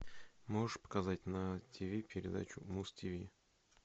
можешь показать на тв передачу муз тв